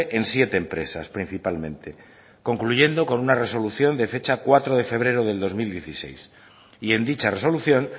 en siete empresas principalmente concluyendo con una resolución de fecha cuatro de febrero de dos mil dieciséis y en dicha resolución